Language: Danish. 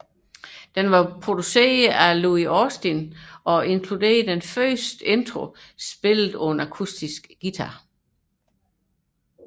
Den var produceret af Louie Austin og inkluderede den første intro spillet på Brian Mays Hairfred akustiske guitar